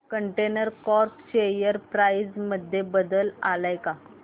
container corp share price मध्ये बदल आलाय का